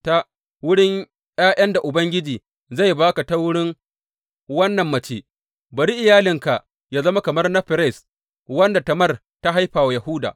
Ta wurin ’ya’yan da Ubangiji zai ba ka ta wurin wannan mace, bari iyalinka yă zama kamar na Ferez, wanda Tamar ta haifa wa Yahuda.